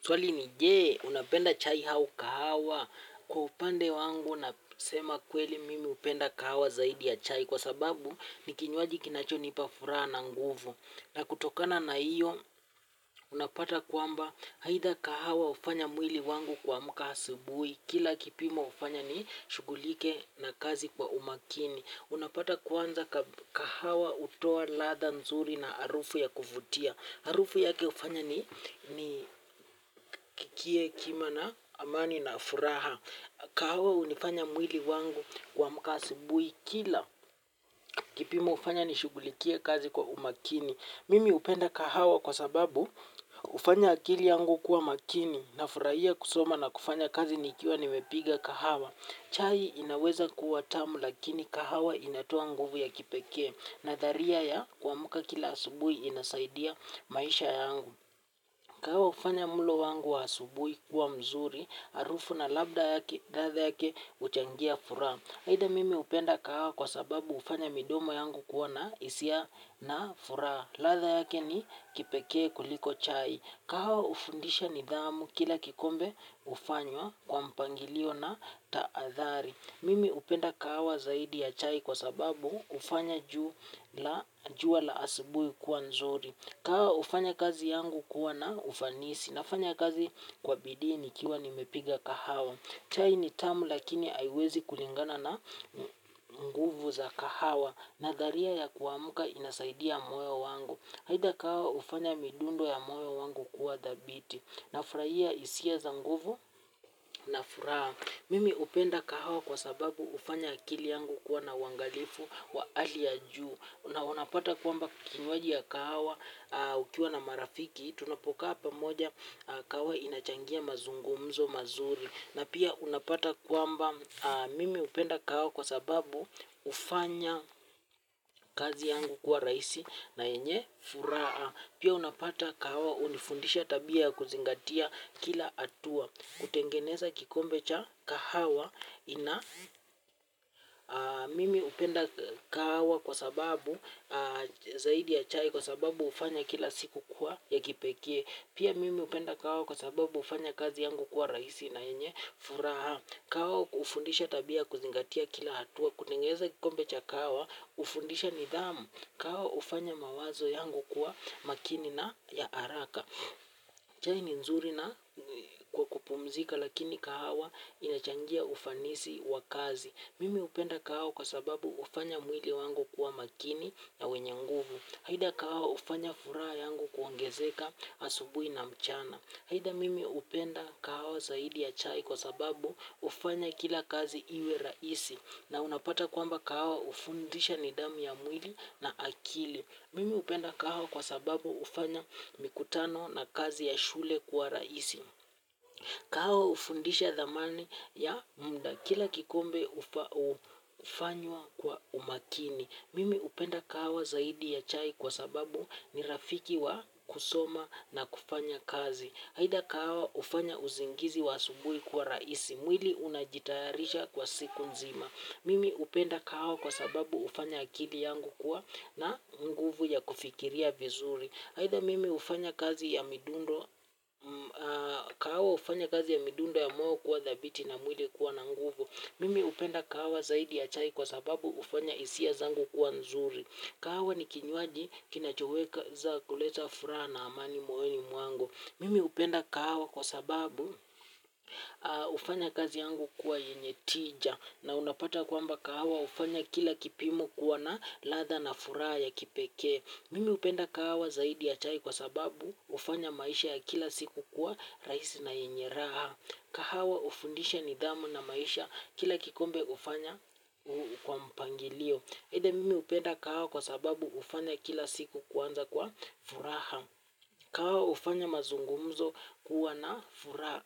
Swali ni je, unapenda chai au kahawa? Kwa upande wangu nasema kweli mimi hupenda kahawa zaidi chai kwa sababu ni kinywaji kinachonipa furaha na nguvu na kutokana na hio unapata kwamba haidha kahawa hufanya mwili wangu kuamka asubuhi kila kipimo hufanya ni shugulike na kazi kwa umakini unapata kwanza kahawa hutoa latha nzuri na arufu ya kuvutia. Harufu yake ufanya ni Kiekima na amani na furaha. Kahawa hunifanya mwili wangu kuamka asubuhi kila. Kipimo hufanya nishugulikie kazi kwa umakini. Mimi hupenda kahawa kwa sababu hufanya akili yangu kuwa makini. Nafurahia kusoma na kufanya kazi nikia nimepiga kahawa. Chai inaweza kuwa tamu lakini kahawa inatoa nguvu ya kipekee. Natharia ya kuamka kila asubuhi inasaidia maisha yangu. Kahawa hufanya mlo wangu wa asubui kuwa mzuri, harufu na labda yake, latha yake huchangia furaha. Aidha mimi hupenda kahawa kwasababu hufanya midomo yangu kuwa na hisia na furaha. Latha yake ni kipekee kuliko chai. Kahawa hufundisha nidhamu kila kikombe hufanywa kwa mpangilio na taathari. Mimi hupenda kahawa zaidi ya chai kwa sababu hufanya juwa la asubuhi kuwa nzuri. Kahawa hufanya kazi yangu kuwa na ufanisi nafanya kazi kwa bii nikiwa nimepiga kahawa. Chai ni tamu lakini aiwezi kulingana na nguvu za kahawa na dharia ya kuamka inasaidia moyo wangu. Haidha kahawa hufanya midundo ya moyo wangu kuwa dhabiti na furahia hisia za nguvu na furaha. Mimi hupenda kahawa kwa sababu hufanya akili yangu kuwa na uangalifu wa ali ya juu. Unapata kwamba kinywaji ya kahawa ukiwa na marafiki. Tunapokaa pamoja kahawa inachangia mazungumzo mazuri. Na pia unapata kwamba mimi hupenda kahawa kwa sababu hufanya kazi yangu kuwa rahisi na yenye furaha. Pia unapata kahawa unifundisha tabia kuzingatia kila atua. Kutengeneza kikombe cha kahawa ina mimi hupenda kahawa kwa sababu zaidi ya chai kwa sababu hufanya kila siku kuwa ya kipekee. Pia mimi hupenda kahawa kwa sababu hufanya kazi yangu kuwa rahisi na yenye furaha. Kahawa hufundisha tabia kuzingatia kila hatua kutengeneza kikombe cha kahawa hufundisha nidhamu. Kahawa hufanya mawazo yangu kuwa makini na ya araka. Chai ni nzuri na kwa kupumzika lakini kahawa inachangia ufanisi wa kazi. Mimi hupenda kahawa kwa sababu ufanya mwili wangu kuwa makini ya wenye nguvu. Haida kahawa hufanya furaha yangu kuongezeka asubuhi na mchana. Haida mimi upenda kahawa zaidi ya chai kwa sababu hufanya kila kazi iwe raisi na unapata kwamba kahawa ufundisha ni damu ya mwili na akili. Mimi hupenda kahawa kwa sababu hufanya mikutano na kazi ya shule kuwa rahisi. Kahawa hufundisha dhamani ya mda kila kikombe hufanywa kwa umakini. Mimi hupenda kahawa zaidi ya chai kwa sababu ni rafiki wa kusoma na kufanya kazi. Haida kahawa hufanya uzingizi wa asubuhi kuwa rahisi. Mwili unajitayarisha kwa siku nzima. Mimi hupenda kahawa kwa sababu hufanya akili yangu kuwa na nguvu ya kufikiria vizuri. Haidha mimi hufanya kazi ya midundo, kahawa hufanya kazi ya midundo ya moyo kuwa dhabiti na mwili kuwa na nguvu. Mimi hupenda kahawa zaidi ya chai kwa sababu hufanya hisia zangu kuwa nzuri. Kahawa ni kinywaji kinachoweza kuleta furaha na amani moyoni mwango. Mimi hupenda kahawa kwa sababu hufanya kazi yangu kuwa yenye tija. Na unapata kwamba kahawa hufanya kila kipimo kuwa na latha na furaha ya kipekee. Mimi hupenda kahawa zaidi ya chai kwa sababu hufanya maisha ya kila siku kuwa raihisi na yenye raha. Kahawa hufundisha nidhamu na maisha kila kikombe hufanya uu kwa mpangilio. Heide mimi hupenda kahawa kwa sababu hufanya kila siku kuanza kwa furaha. Kahawa hufanya mazungumzo kuwa na furaha